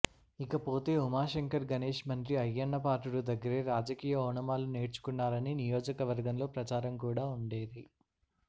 ఇకపోతే ఉమాశంకర్ గణేష్ మంత్రి అయ్యన్నపాత్రుడు దగ్గరే రాజకీయ ఓనమాలు నేర్చుకున్నారని నియోజకవర్గంలో ప్రచారం కూడా ఉండేది